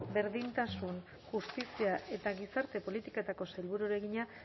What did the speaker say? berdintasun justizia eta gizarte politiketako sailburuari egina